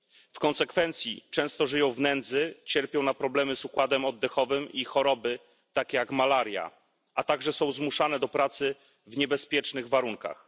W konsekwencji często żyją w nędzy, cierpią na problemy z układem oddechowym i choroby takie jak malaria, a także są zmuszane do pracy w niebezpiecznych warunkach.